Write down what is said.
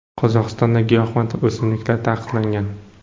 Qozog‘istonda giyohvand o‘simliklar taqiqlangan.